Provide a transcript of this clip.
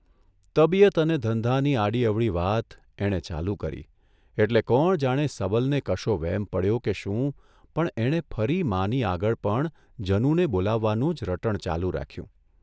તબિયત અને ધંધાની આડીઅવળી વાત એણે ચાલુ કરી એટલે કોણ જાણે સબલને કશો વહેમ પડ્યો કે શું પણ એણે ફરી માની આગળ પણ જનુને બોલાવવાનું જ રટણ ચાલુ રાખ્યું.